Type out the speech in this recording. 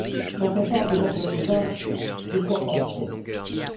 Quand on parle d'Europe 2020, de quoi parle t on?